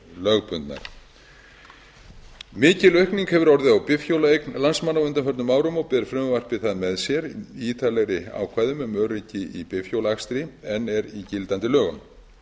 lögbundnar mikil aukning hefur orðið á bifhjólaeign landsmanna á undanförnum árum og ber frumvarpið það með sér í ítarlegri ákvæðum um öryggi í bifhjólaakstri en er í gildandi lögum